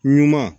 Ɲuman